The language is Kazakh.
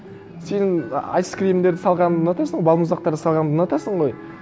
сен айскримдерді салғанын ұнатасың балмұздақтарды салғанды ұнатасың ғой